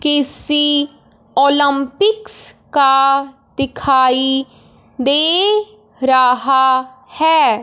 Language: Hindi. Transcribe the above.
किसी ओलंपिकस का दिखाई दे रहा है।